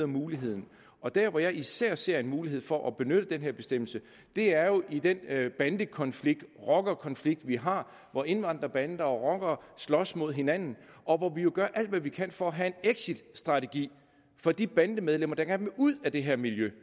muligheden og der hvor jeg især ser en mulighed for at benytte den her bestemmelse er jo i den bandekonflikt rockerkonflikt vi har hvor indvandrerbander og rockere slås med hinanden og hvor vi jo gør alt hvad vi kan for at have en exitstrategi for de bandemedlemmer der gerne vil ud af det her miljø